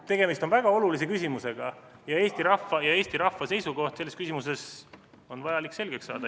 Tegemist on väga olulise küsimusega ja Eesti rahva seisukoht selles küsimuses on vaja selgeks saada.